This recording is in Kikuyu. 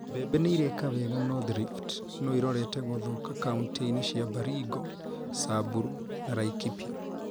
Mbembe nĩireka wega North Rift no irorete gũthũka kauntĩ-inĩ cia Baringo, Samburu, na Laikipia